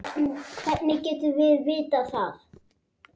Hvernig getum við vitað það?